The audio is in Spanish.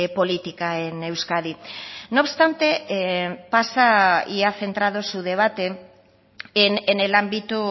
política en euskadi no obstante pasa y ha centrado su debate en el ámbito